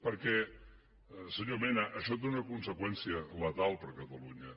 perquè senyor mena això té una conseqüència letal per a catalunya